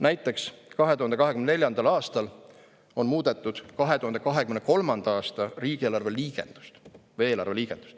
Näiteks 2024. aastal on muudetud 2023. aasta eelarve liigendust.